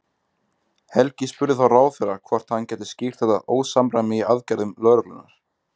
Helgi spurði þá ráðherra hvort hann gæti skýrt þetta ósamræmi í aðgerðum lögreglunnar?